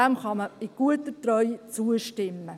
Man kann ihm in guter Treue zustimmen.